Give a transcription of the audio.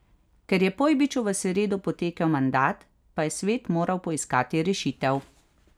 Ker je Pojbiču v sredo potekel mandat, pa je svet moral poiskati rešitev.